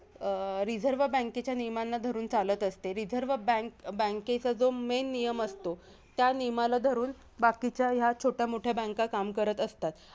अं reserve बँकेेच्या नियमांना धरून चालत असते. रिझर्व बँक bank चा जो main नियम असतो, त्या नियमाला धरून बाकीच्या या छोट्या मोठ्या banks काम करत असतात.